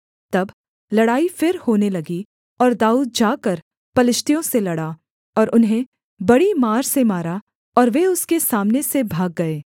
तब लड़ाई फिर होने लगी और दाऊद जाकर पलिश्तियों से लड़ा और उन्हें बड़ी मार से मारा और वे उसके सामने से भाग गए